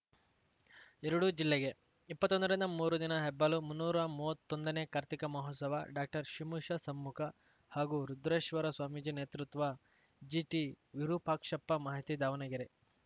ಎರಡೂ ಜಿಲ್ಲೆಗೆ ಇಪ್ಪತ್ತೊಂದರಿಂದ ಮೂರು ದಿನ ಹೆಬ್ಬಾಳು ಮುನ್ನೂರ ಮೂವತ್ತೊಂದನೇ ಕಾರ್ತೀಕ ಮಹೋತ್ಸವ ಡಾಕ್ಟರ್ ಶಿಮುಶ ಸಮ್ಮುಖ ಹಾಗೂ ರುದ್ರೇಶ್ವರ ಸ್ವಾಮೀಜಿ ನೇತೃತ್ವ ಜಿಟಿ ವಿರೂಪಾಕ್ಷಪ್ಪ ಮಾಹಿತಿ ದಾವಣಗೆರೆ